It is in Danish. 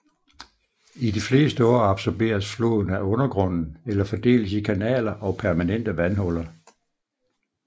I de fleste år absorberes floden af undergrunden eller fordeles i kanaler og permanente vandhuller